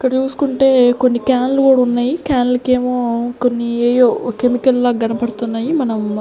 ఇక్కడ్ చూసుకుంటే కొన్ని క్యాన్లు కుడున్నాయి క్యాన్లకేమో కొన్ని ఏయో కెమికల్ లా గన్పడ్తున్నాయి మనం--